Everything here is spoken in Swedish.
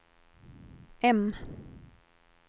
M